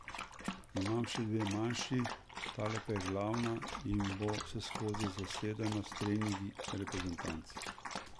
Imamo še dve manjši, tale pa je glavna in bo vseskozi zasedena s treningi reprezentanc.